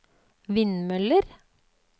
vindmøller